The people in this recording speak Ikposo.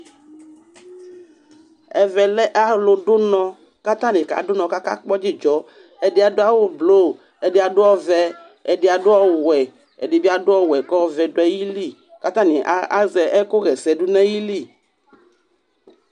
Ɛvɛ lɛ alʋdʋ ʋnɔ kʋ atanɩ kadʋ ʋnɔ kʋ akakpɔ dzɩdzɔ Ɛdɩ adʋ awʋblʋ Ɛdɩ adʋ ɔvɛ Ɛdɩ adʋ ɔwɛ Ɛdɩ bɩ adʋ ɔwɛ kʋ ɔvɛ dʋ ayili kʋ atanɩ a azɛ ɛkʋɣa ɛsɛ dʋ nʋ ayili